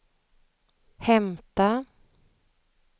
hämta